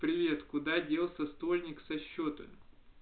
привет куда делся стольник со счёта